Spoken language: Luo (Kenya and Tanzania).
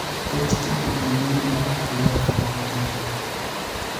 thoth tijegi neno ma ok ler kata matin